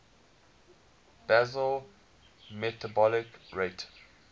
basal metabolic rate